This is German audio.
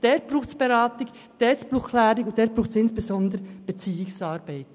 Dort braucht es Beratung und Aufklärung und dort braucht es insbesondere Beziehungsarbeit.